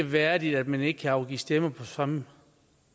værdigt at man ikke kan afgive stemme på samme